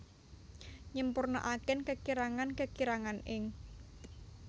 nyempurnaaken kekirangan kekirangan ing